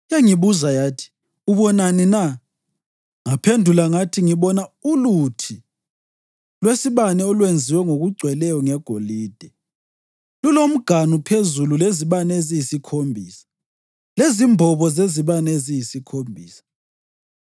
Yangibuza yathi, “Ubonani na?” Ngaphendula ngathi, “Ngibona uluthi lwesibane olwenziwe ngokugcweleyo ngegolide, lulomganu phezulu lezibane eziyisikhombisa lezimbobo zezibane eziyisikhombisa.